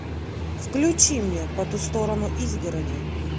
включи мне по ту сторону изгороди